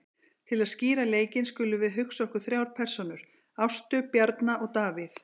Til að skýra leikinn skulum við hugsa okkur þrjár persónur, Ástu, Bjarna og Davíð.